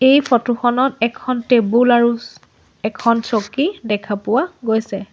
এই ফটো খনত এখন টেবুল আৰু চ এখন চকী দেখা পোৱা গৈছে।